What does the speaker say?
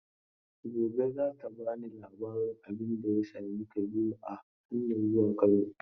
Gobe za ta ba ni labarin abin da ya same Kabiru a hanyan zuwa Kano.